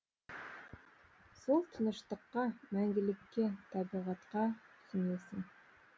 сол тыныштыққа мәңгілікке табиғатқа сіңесің